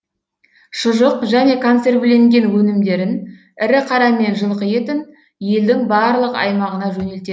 шұжық және консервіленген өнімдерін ірі қара мен жылқы етін елдің барлық аймағына жөнелтеді